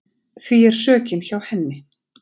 Því sökin er hjá henni.